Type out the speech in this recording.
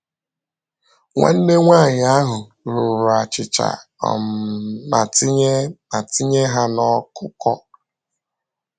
Nwanne nwanyị ahụ rụrụ achịcha um ma tinye ma tinye ha n’ọkụkọ.